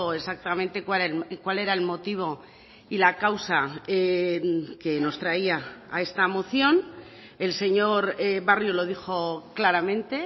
exactamente cuál era el motivo y la causa que nos traía a esta moción el señor barrio lo dijo claramente